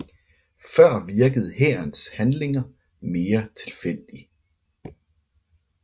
Før virkede hærens handlinger mere tilfældig